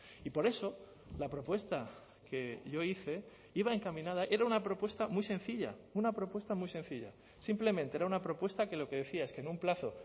y por eso la propuesta que yo hice iba encaminada era una propuesta muy sencilla una propuesta muy sencilla simplemente era una propuesta que lo que decía es que en un plazo